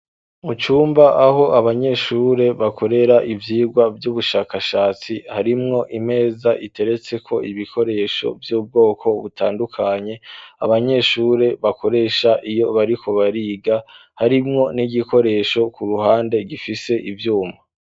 Mu cumba aho abanyeshure bakorera ivyigwa vy'ubushakashatsi harimwo imeza iteretseko ibikoresho vy'ubwoko butandukanye, abanyeshure bakoresha iyo bariko bariga harimwo n'igikoresho ku ruhande gifise ivyuma.